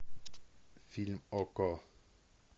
фильм окко